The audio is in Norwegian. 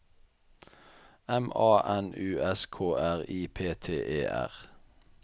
M A N U S K R I P T E R